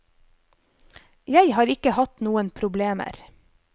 Jeg har ikke hatt noen problemer.